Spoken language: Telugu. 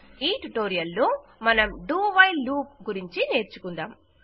ఈ ట్యుటోరియల్ లో మనం do వైల్ లూప్ గురించి నేర్చుకుందాం